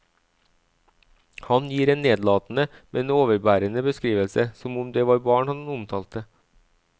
Han gir en nedlatende, men overbærende beskrivelse, som om det var barn han omtalte.